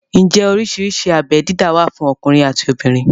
Ǹjẹ́ oríṣiríṣi abé dídá wà fún ọkùnrin àti obìnrin?